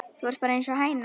Þú ert bara einsog hæna.